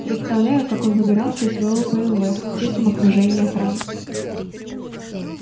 представляю как он выбирался из своего бмв в тесном окружении охраны